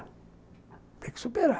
Tinha que superar.